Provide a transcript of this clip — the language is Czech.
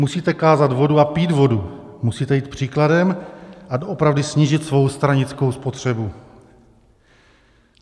Musíte kázat vodu a pít vodu, musíte jít příkladem a doopravdy snížit svou stranickou spotřebu.